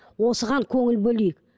осыған көңіл бөлейік